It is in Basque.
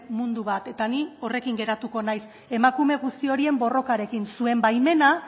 mundu bat eta ni horrekin geratuko naiz emakume guzti horien borrokarekin zuen baimena